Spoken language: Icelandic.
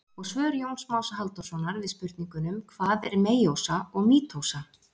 Og svör Jóns Más Halldórssonar við spurningunum: Hvað er meiósa og mítósa?